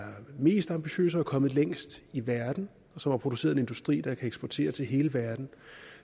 er mest ambitiøs og er kommet længst i verden og som har produceret en industri der kan eksportere til hele verden